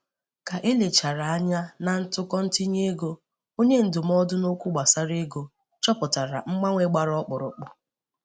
ka ele achara anya na ntụkọ ntinye ego, onye ndụmọdụ n'okwu gbasara ego chọpụtara mgbanwe gbara ọkpụrụkpụ